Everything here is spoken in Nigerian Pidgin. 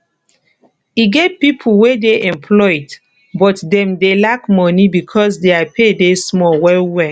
e get pipo wey dey employed but dem dey lack money because their pay dey small well welll